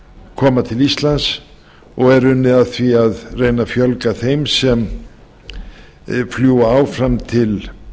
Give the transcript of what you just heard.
koma til íslands og er unnið að því að reyna að fjölga þeim sem fljúga áfram til